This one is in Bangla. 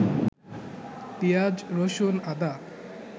পিঁয়াজ, রসুন, আদা